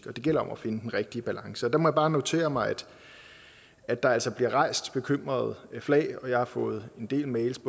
det gælder om at finde den rigtige balance og der må jeg bare notere mig at der altså bliver rejst bekymringer og at jeg har fået en del mails